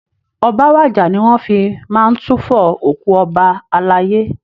"Ọba wàjà" ni wọ́n fi máa ń túfọ òkú ọba alayé